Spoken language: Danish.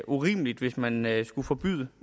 urimeligt hvis man man skulle forbyde